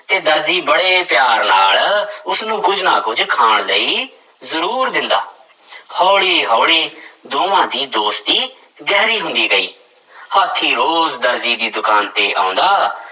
ਤੇ ਦਰਜੀ ਬੜੇ ਪਿਆਰ ਨਾਲ ਉਸਨੂੰ ਕੁੱਝ ਨਾ ਕੁੱਝ ਖਾਣ ਲਈ ਜ਼ਰੂਰ ਦਿੰਦਾ ਹੌਲੀ ਹੌਲੀ ਦੋਵਾਂ ਦੀ ਦੋਸਤੀ ਗਹਿਰੀ ਹੁੰਦੀ ਗਈ, ਹਾਥੀ ਰੋਜ਼ ਦਰਜੀ ਦੀ ਦੁਕਾਨ ਤੇ ਆਉਂਦਾ,